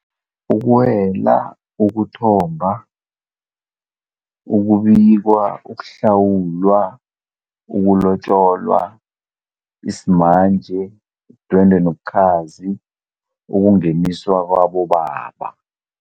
Ukwela, ukuthomba, ukubikwa, ukuhlawulwa, ukulotjolwa, isimanje, idwendwe nobukhazi, ukungeniswa kwabobaba.